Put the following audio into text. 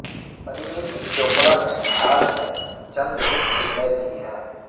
پرینیتی چوپڑہ نے حال میں چند ہٹ فلمیں دی ہیں